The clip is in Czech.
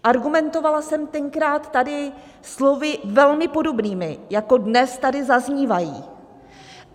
Argumentovala jsem tenkrát tady slovy velmi podobnými, jako dnes tady zaznívají.